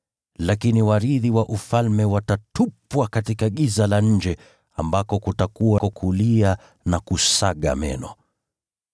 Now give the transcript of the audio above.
Lakini warithi wa Ufalme watatupwa katika giza la nje, ambako kutakuwako kilio na kusaga meno.”